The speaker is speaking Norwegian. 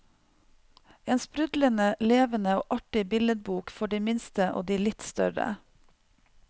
En sprudlende levende og artig billedbok for de minste og de litt større.